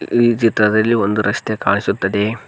ಈ ಚಿತ್ರದಲ್ಲಿ ಒಂದು ರಸ್ತೆ ಕಾಣಿಸುತ್ತದೆ.